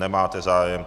Nemáte zájem.